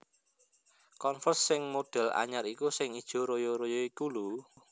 Converse sing model anyar iku sing ijo royo royo iku lho